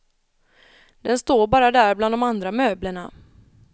Den bara står där bland de andra möblerna.